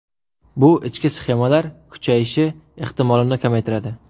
Bu ichki sxemalar kuyishi ehtimolini kamaytiradi.